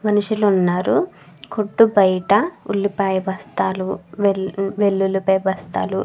మనుషులు వున్నారు కొట్టు బయట ఉలిపాయ బస్తాలు వెల్లులి పాయ బస్తాలు --